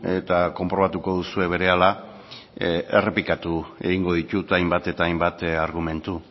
eta konprobatuko duzue berehala errepikatu egingo ditut hainbat eta hainbat argumentu